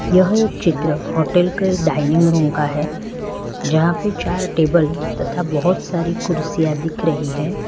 यह एक चित्र होटल के डाइनिंग रूम का है जहां पे चार टेबल तथा बहोत सारी कुर्सियां दिख रही है।